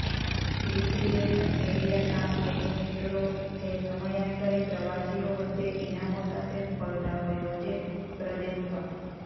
recreation area કામ એનિમેટરો જે સમયાંતરે પ્રવાસીઓ વચ્ચે ઇનામો સાથે સ્પર્ધાઓ યોજે પ્રદેશ પર